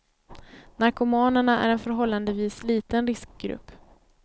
Narkomanerna är en förhållandevis liten riskgrupp.